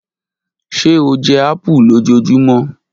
Ṣe o jẹ apu lojoojumọ?